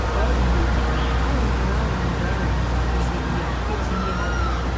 Ka ọ dịgodị, ahụmahụ ahụmahụ ahụ kụziiri ya ọtụ ihe bara ụrụ.